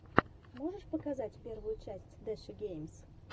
можешь показать первую часть дэши геймс